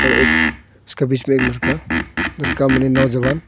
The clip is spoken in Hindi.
एक उसके बीच एक लड़का लड़का माने नौजवान--